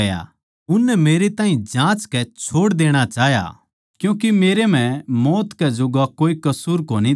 उननै मेरै ताहीं जाँचकै छोड़ देणा चाह्या क्यूँके मेरै म्ह मौत कै जोग्गा कोए कसूर कोनी था